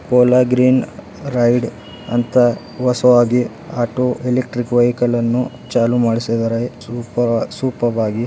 Cola green ride ಅಂತ ಹೊಸದಾಗಿ auto electrical vehicle ಅನ್ನು ಚಾಲು ಮಾಡಿಸಿದರೆ ಸೂಪರ್ ಸುಪರ್ಬ್ ಆಗಿ --